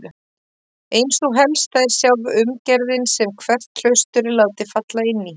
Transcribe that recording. Ein sú helsta er sjálf umgerðin sem hvert klaustur er látið falla inní.